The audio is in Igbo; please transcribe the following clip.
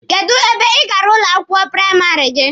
Kedụ ebe ị gara ụlọ akwụkwọ praịmarị gị?